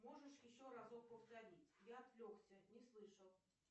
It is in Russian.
можешь еще разок повторить я отвлекся не слышал